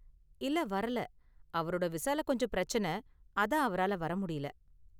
இல்ல வரல, அவரோட விசால கொஞ்சம் பிரச்சனை, அதான் அவரால வர முடியல.